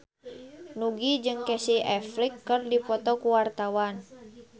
Nugie jeung Casey Affleck keur dipoto ku wartawan